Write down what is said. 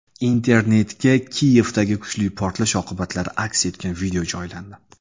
Internetga Kiyevdagi kuchli portlash oqibatlari aks etgan video joylandi.